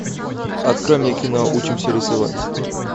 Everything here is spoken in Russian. открой мне кино учимся рисовать